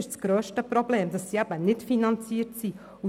Das grösste Problem ist, dass sie eben nicht finanziert sind.